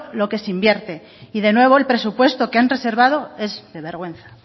lo que se invierte y de nuevo el presupuesto que han reservado es de vergüenza